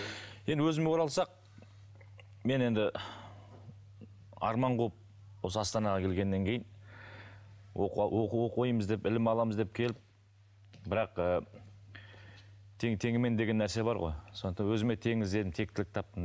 енді өзіме оралсақ мен енді арман қуып осы астанаға келгеннен кейін оқу оқимыз деп ілім аламыз деп келіп бірақ ы тең теңімен деген нәрсе бар ғой сондықтан өзіме тең іздедім тектілік таптым